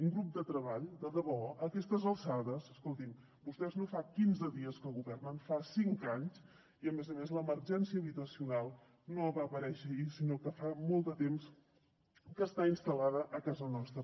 un grup de treball de debò a aquestes alçades escoltin vostès no fa quinze dies que governen fa cinc anys i a més a més l’emergència habitacional no va aparèixer ahir sinó que fa molt de temps que està instal·lada a casa nostra